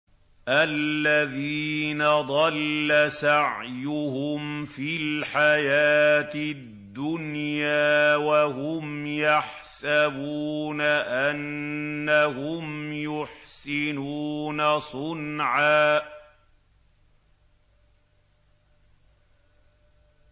الَّذِينَ ضَلَّ سَعْيُهُمْ فِي الْحَيَاةِ الدُّنْيَا وَهُمْ يَحْسَبُونَ أَنَّهُمْ يُحْسِنُونَ صُنْعًا